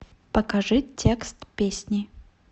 покажи текст песни